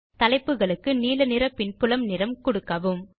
தலைப்புகளுக்கு நீல நிற பின்புல நிறம் கொடுக்கவும்